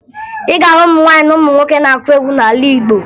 Ị ga-ahụ ụmụ nwaanyị na ụmụ nwoke na-akụ egwu n'ala Igbo